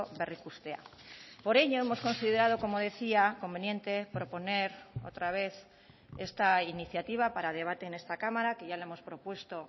berrikustea por ello hemos considerado como decía conveniente proponer otra vez esta iniciativa para debate en esta cámara que ya la hemos propuesto